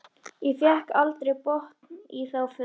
Ég fékk aldrei botn í þá för.